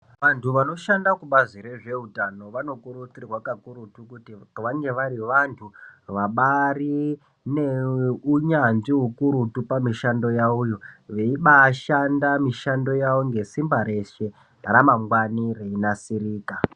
Antu vanoshanda kubazi rezveutano vanokurudzirwa kakurutu kuti vange vari vantu vabaari neunyanzvi hukurutu pamishando yavoyo. Veibaashanda mishando yavo ngesimba reshe, ramangwani reinasirika.